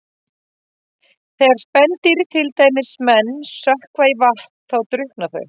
Þegar spendýr, til dæmis menn, sökkva í vatn þá drukkna þau.